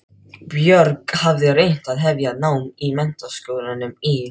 Björg hafði reynt að hefja nám í Menntaskólanum í